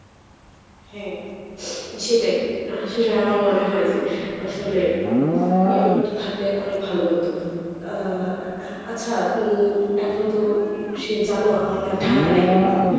হ্যাঁ, সেটাই সেটাই আমার মনে হয় যে আসলে এই ব্যাপারটা থাকলে অনেক ভালো হতো আ আচ্ছা উম এখন তো সে জানো আমার না ঠান্ডা লেগে গেছে,